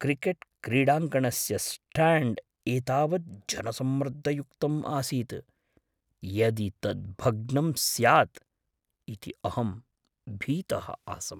क्रिकेट्क्रीडाङ्गणस्य stand एतावत् जनसम्मर्दयुक्तम् आसीत्, यदि तत् भग्नं स्याद् इति अहं भीतः आसम्।